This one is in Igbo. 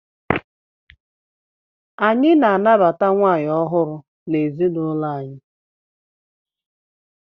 Anyị na-anabata nwaanyị ọhụrụ anyị n'ezinụlọ.